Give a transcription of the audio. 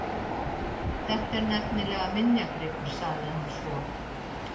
Þetta er nefnilega minjagripur- sagði hann svo.